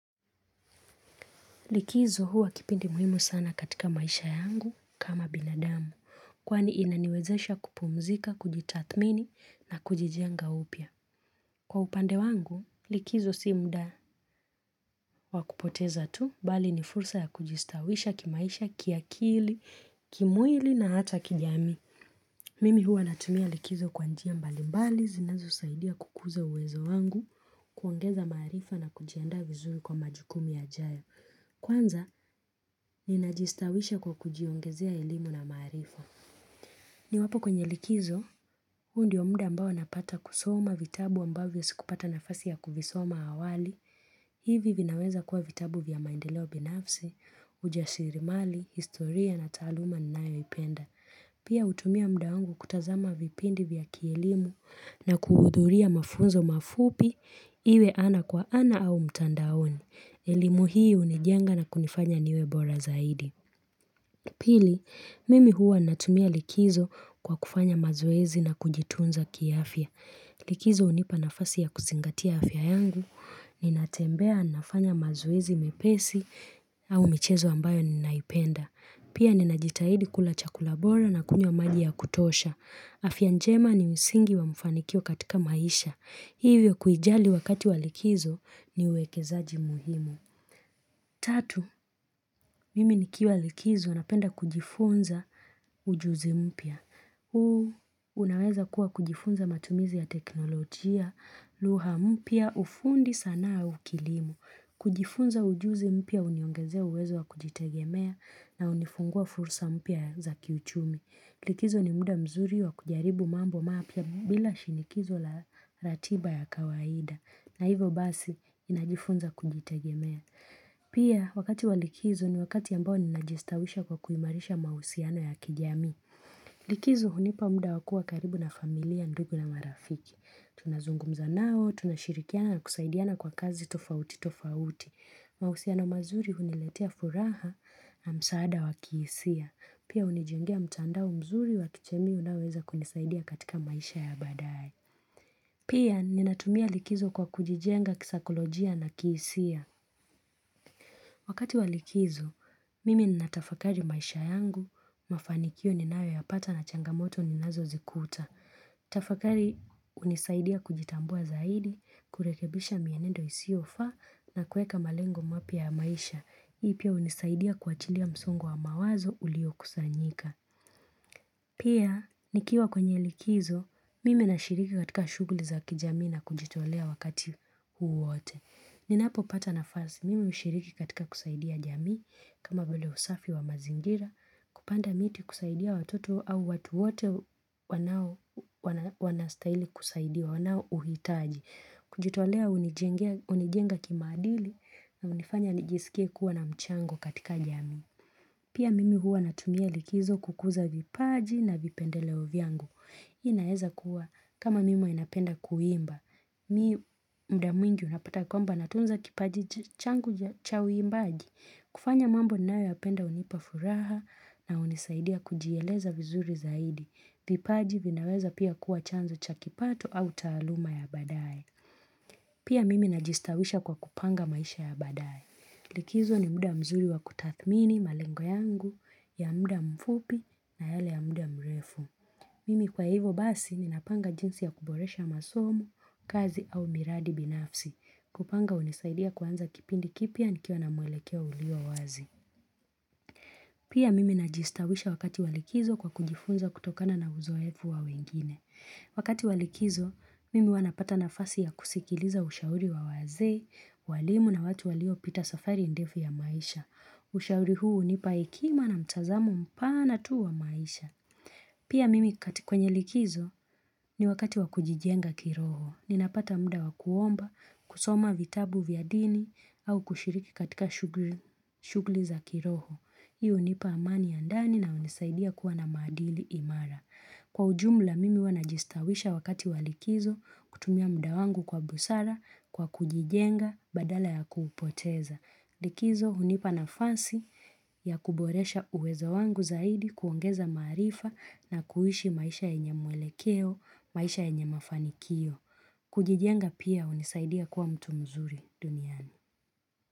Likizo huwa kipindi muhimu sana katika maisha yangu kama binadamu, kwani inaniwezesha kupumzika, kujitathmini na kujijenga upya. Kwa upande wangu, likizo si mda wakupoteza tu, bali ni fursa ya kujistawisha kimaisha, kiakili, kimwili na hata kijamii. Mimi huwa natumia likizo kwa njia mbalimbali, zinazo usaidia kukuza uwezo wangu, kuongeza maarifa na kujiandaa vizuri kwa majukumu ya jayo. Kwanza, ni najistawisha kwa kujiongezea elimu na maarifa ni wapo kwenye likizo, huu ndi omda ambao napata kusoma vitabu ambavyo sikupata nafasi ya kuvisoma awali hivi vinaweza kuwa vitabu vya maendeleo binafsi, ujashirimali, historia na taaluma ninayoipenda Pia utumia mda wangu kutazama vipindi vya kielimu na kuhudhuria mafunzo mafupi iwe ana kwa ana au mtandaoni elimu hii unijenga na kunifanya niwebora zaidi. Pili, mimi huwa natumia likizo kwa kufanya mazoezi na kujitunza kiafya. Likizo unipa nafasi ya kuzingatia afya yangu, ninatembea nafanya mazoezi mepesi au michezo ambayo ninaipenda. Pia ninajitahidi kula chakula bora na kunywa maji ya kutosha. Afya njema ni misingi wa mfanikio katika maisha. Hivyo kuijali wakati walikizo niwekezaji muhimu. Tatu, mimi nikiwa likizo, unapenda kujifunza ujuzi mpya. Huo, unaweza kuwa kujifunza matumizi ya teknolojia, luha mpya, ufundi sanaa au kilimo. Kujifunza ujuzi mpya, uniongezea uwezo wa kujitegemea na unifungua fursa mpya za kiuchumi. Likizo ni muda mzuri wa kujaribu mambo mapya bila shinikizo la ratiba ya kawaida. Na hivo basi, inajifunza kujitegemea. Pia wakati walikizo ni wakati ambao ni najistawisha kwa kuimarisha mausiano ya kijamii Likizo hunipa mda wakuwa karibu na familia ndugu na marafiki Tunazungumza nao, tunashirikiana na kusaidiana kwa kazi tofauti tofauti mausiano mazuri huniletea furaha na msaada wakiisia Pia unijengea mtandao mzuri wa kichemi unaoweza kunisaidia katika maisha ya baadaye Pia ninatumia likizo kwa kujijenga kisakolojia na kisia Wakati walikizo, mimi na tafakari maisha yangu, mafanikio ni nawe ya pata na changamoto ni nazo zikuta. Tafakari unisaidia kujitambua zaidi, kurekebisha mienendo isio fa na kueka malengo mapia maisha. Ipia unisaidia kuachilia msungo wa mawazo ulio kusanyika. Pia, nikiwa kwenye likizo, mimi na shiriki katika shuguli za kijamii na kujitolea wakati huuwote. Ninapo pata na fasi, mimi mshiriki katika kusaidia jamii, kama vile usafi wa mazingira, kupanda miti kusaidia watoto au watu wote wanastaili kusaidia wanao uhitaji, kujitolea unijenga kimaadili na unifanya nijisikie kuwa na mchango katika jamii. Pia mimi hua natumia likizo kukuza vipaji na vipendeleo vyangu. Inaeza kuwa kama mimi napenda kuimba. Mi mda mwingi unapata kwamba natunza kipaji changu cha uimbaji. Kufanya mambo ninayoyapenda unipa furaha na unisaidia kujieleza vizuri zaidi. Vipaji vinaweza pia kuwa chanzo cha kipato au taaluma ya badaye. Pia mimi najistawisha kwa kupanga maisha ya badaye. Likizo ni muda mzuri wa kutathmini malengo yangu, ya muda mfupi na yale ya muda mrefu Mimi kwa hivo basi ninapanga jinsi ya kuboresha masomo, kazi au miradi binafsi kupanga unisaidia kuanza kipindi kipya nikiwa na mwelekeo ulio wazi Pia mimi najistawisha wakati walikizo kwa kujifunza kutokana na uzoefu wa wengine Wakati walikizo, mimi wanapata nafasi ya kusikiliza ushauri wa wazee, walimu na watu walio pita safari ndefu ya maisha Ushauri huu nipa ekima na mtazamo mpana tuwa maisha. Pia mimi katika kwenye likizo ni wakati wakujijenga kiroho. Ninapata mda wakuomba, kusoma vitabu vyadini au kushiriki katika shugli za kiroho. Hiu nipa amani andani na unisaidia kuwa na madili imara. Kwa ujumla mimi wanajistawisha wakati walikizo kutumia mda wangu kwa busara kwa kujijenga badala ya kuhupoteza. Likizo unipana fasi ya kuboresha uwezo wangu zaidi kuongeza maarifa na kuhishi maisha yenye mwelekeo, maisha yenye mafanikio. Kujijenga pia unisaidia kuwa mtu mzuri duniani.